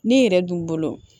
Ne yɛrɛ dun bolo